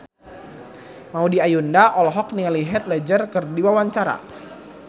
Maudy Ayunda olohok ningali Heath Ledger keur diwawancara